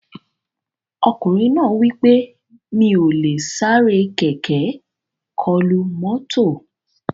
Ọkùnrin náà wí pé "Mi ò lè sáré kẹ̀kẹ́ kọlu mọ́tò"